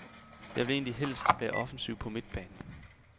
Jeg vil egentlig helst være offensiv på midtbanen.